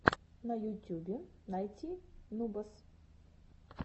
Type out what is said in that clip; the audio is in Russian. на ютюбе найти нубас